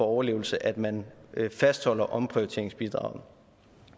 overlevelse at man fastholder omprioriteringsbidraget